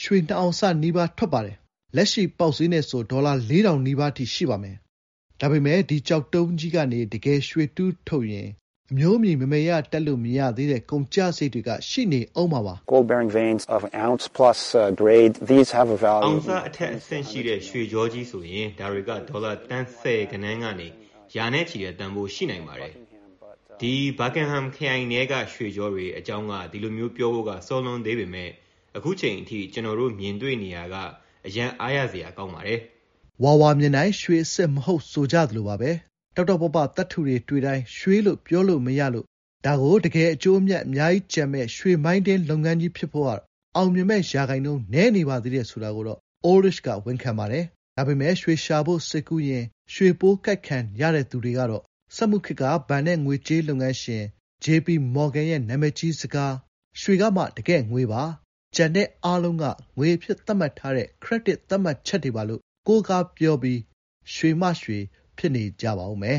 ရွှေ အောင်စနီးပါး လောက် ထွက်ပါတယ်။ လက်ရှိပေါက်ဈေးနဲ့ ဆိုရင် ဒေါ်လာ လေးထောင် နီးပါးအထိ ရှိပါမယ်။ ဒါပေမယ့် ဒီကျောက်တုံးကြီးကနေ တကယ် ‌ရွှေတူးထုတ်ရင် အမျိုးအမည် မယ်မယ်ရရ တပ်လို့ မရသေးတဲ့ ကုန်ကျစရိတ်တွေက ရှိဦးမှာပါ။ “အောင်စ အထက် အဆင့်ရှိတဲ့ ရွှေကြောကြီးဆိုရင် ဒါတွေက ဒေါ်လာ သန်းဆယ်ဂဏန်းကနေ ရာနဲ့ချီတဲ့ တန်ဖိုးရှိနိုင်ပါတယ်။ ဒီဘာကင်ဟမ် ခရိုင်ထဲက ရွှေကြောတွေ အကြောင်းက ဒီလိုမျိုးပြောဖို့က စောလွန်းသေးပေမယ့် အခုအချိန်အထိ ကျွန်တော်တို့ မြင်နေရတာတွေက အရမ်းအားရ စရာ ကောင်းပါတယ်။" ဝါဝါမြင်တိုင်း ရွှေအစစ် မဟုတ် ဆိုကြသလိုပါပဲ။ တောက်တောက်ပပ သတ္တုတွေ့တိုင်း ရွှေလို့ ပြောလို့မရလို့ ဒါကို တကယ် အကျိုးအမြတ် အများကြီးကျန်မယ့် ရွှေမိုင်းတွင်း လုပ်ငန်းကြီး ဖြစ်ဖို့က အောင်မြင်မယ့် ရာခိုင်နှုန်း နည်းနေပါသေးတယ် ဆိုတာကိုတော့ အိုးလ်ရစ်ချ်က ဝန်ခံပါတယ်။ ဒါပေမယ့် ရွှေရှာဖို့ စိတ်ကူးယဉ်၊ ရွှေပိုးကိုက်ခံရတဲ့သူတွေကတော့ စက်မှုခေတ်က ဘဏ်နဲ့ ငွေကြေးလုပ်ငန်းရှင် ဂျေ ပီ မော်ဂန် ရဲ့ နာမည်ကြီးစကား “ရွှေကမှ တကယ့် ငွေပါ။ ကျန်တာအားလုံးက ငွေ အဖြစ် သတ်မှတ်ထားတဲ့ ခရက်ဒစ် သတ်မှတ်ချက်တွေပါ” ကို ကိုးကား ပြောပြီး ရွှေ မှ ရွှေ ဖြစ်နေကြပါဦးမယ်